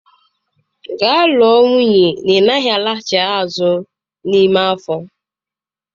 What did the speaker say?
Gaa lụọ nwunye ị naghị alaghachi azụ n'ime afọ